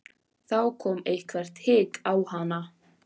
Þá kom eitthvert hik á hana.